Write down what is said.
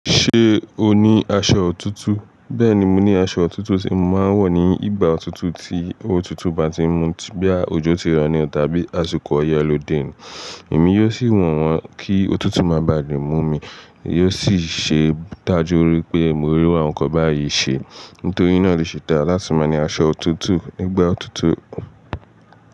Ṣé o ní aṣọ òtútù? Bẹ́ẹ̀ni, mo ní aṣọ òtútù tí màá n wọ̀ ní ìgbà òtútù tí òtútù bá ti ń mú, boyà òjò ti rọ̀ ní o, tàbí àsìkò oye lode ni. Èmi yóò sì wọ̀ wọ́n kí òtútù má bà lé mú mi, yóò sì ṣe é dà jú wi pé mo rí iru awọ́n nnkan bá yí ṣe. Nítorí náà ló ṣe dá láti máa ní aṣọ òtútù, nigba òtútù.